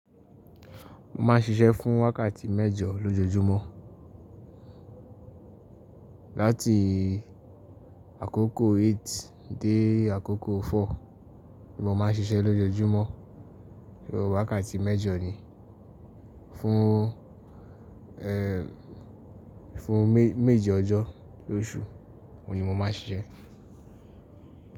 Mo ma ń ṣiṣẹ́ fún wákàtì mẹ́jọ lójoojúmọ́. Láti àkókò 8 dé àkókò 4 ni mo ma ń ṣiṣẹ́ lójoojúmọ́. So wákàtì mẹ́jọ ni. Fun ehn fun meji ojo losu oun ni mo maa n sise.